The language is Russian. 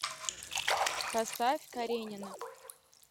поставь каренина